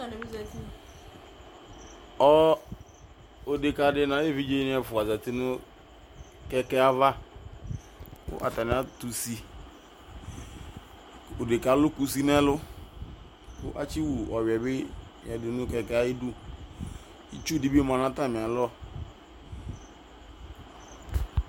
Ɔ deka nu ayevidzedi zatinu kɛkɛ ava ku atani atusi odekɛ alu kʊsi yanu ɛlu kuasiwu ɔnuya nu kɛkɛ ayidu itsudibi manu atami alɔ